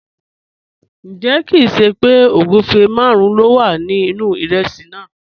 Njẹ̀, kìn ṣé pẹ́ ogunfẹ́ màrùn ló wà ní inu ìrèsí náà?